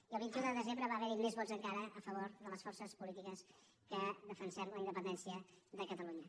i el vint un de desembre va haver hi més vots encara a favor de les forces polítiques que defensem la independència de catalunya